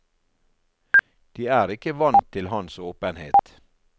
De er ikke vant til hans åpenhet.